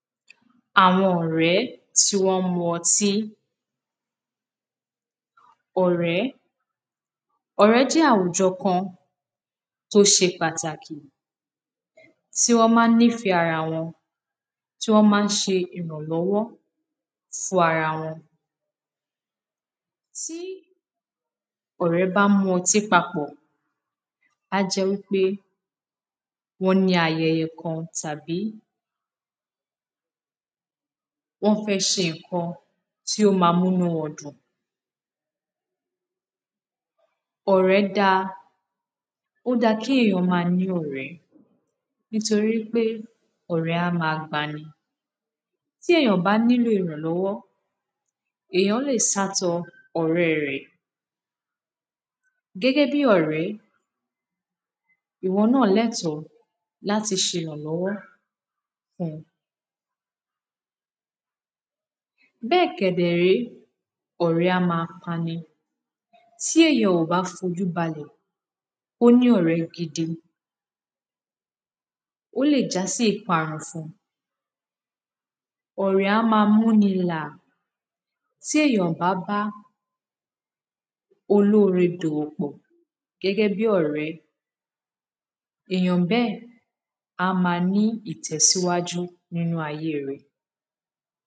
Àwọn ọ̀ọrẹ́ tí wọ́n mu ọtí Ọ̀rẹ́ ọ̀rẹ́ jẹ́ àwùjọ kan tó ṣe pàtàkì tí wọ́n ma ń nífẹ̀ ẹ́ ara wọn tí wọ́n ma ṣe ìrànlọ́wọ́ fún ún ara wọn Tí ọ̀rẹ́ bá mu ọtí papọ̀ á jẹ́ wípé wọ́n ní ayẹyẹ kan tàbí wọ́n fẹ́ ṣe nǹkan tí ó máa mú inú wọn dùn Ọ̀rẹ́ dá a ó da kí èyàn máa ní ọ̀rẹ́ nítorí pé ọ̀rẹ́ a máa gbani tí èyàn bá ní lò ìrànlọ́wọ́ èyàn le sá tọ ọ̀rẹ́ rẹ̀ ìwọ náà lẹ́tọ̀ ọ́ láti ṣe ìrànlọ́wọ́ Bẹ́ẹ̀ kẹ̀dẹ̀rè é ọ̀rẹ́ á ma pani tí èyàn ò bá fojú balẹ̀ kó ní ọ̀rẹ́ gidi ó lè já sí ìparun fún ún Ọ̀rẹ́ a máa mú ni làà tí èyàn ò bá bá olóore dòwòpọ̀ gẹ́gẹ́ bí ọ̀rẹ́ èyàn bẹ́ẹ̀ á ma ní ìtẹ̀síwájú nínú ayé rẹ̀